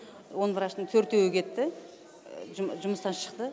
он врачтың төртеуі кетті жұмыстан шықты